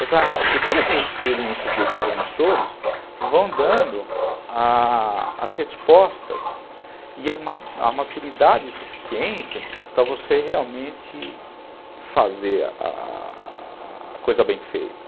Exato, porque todas essas experiências desses anos todos vão dando a as respostas e a a maturidade suficiente para você realmente fazer a a coisa bem feita.